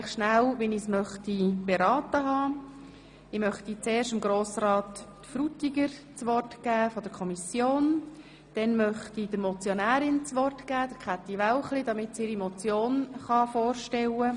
Nun möchte ich zuerst dem Kommissionssprecher, Grossrat Frutiger, das Wort geben und danach Grossrätin Wälchli als Motionärin.